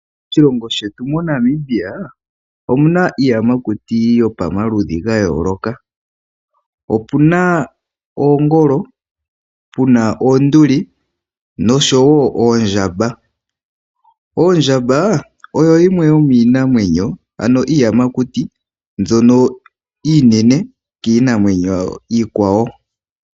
Moshilongo shetu moNamibia omu na iiyamakuti ya yooloka, opu na oongolo, pu na oonduli noshowo oondjamba. Ondjamba oyo yimwe yomiiyamakuti ndjono iinene kiinamwenyo iikwawo.